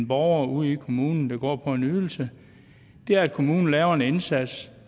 borgerne ude i kommunen der går på en ydelse er at kommunen laver en indsats